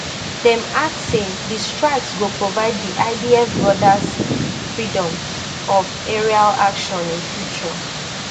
dem add say di strikes go provide di idf broader freedom of aerial action in future